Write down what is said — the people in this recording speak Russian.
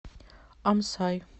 амсай